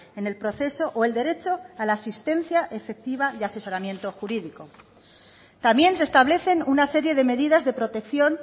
en el proceso o el derecho a la asistencia efectiva y asesoramiento jurídico también se establecen una serie de medidas de protección